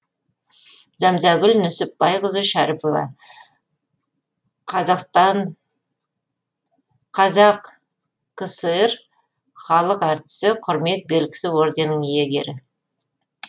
зәмзәгүл нүсіпбайқызы шәріпова қазақкср халық әртісі құрмет белгісі орденінің иегері